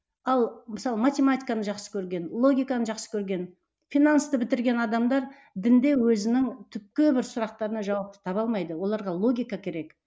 ал мысалы математиканы жақсы көрген логиканы жақсы көрген финансты бітірген адамдар дінде өзінің түпкі бір сұрақтарына жауапты таба алмайды оларға логика керек